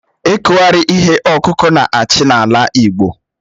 Ikughari ihe ọkụkụ na-achị n'ala Igbo